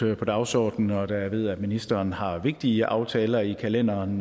på dagsordenen og da jeg ved at ministeren har vigtige aftaler i kalenderen